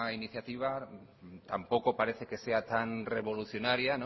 iniciativa tampoco parece que sea tan revolucionaria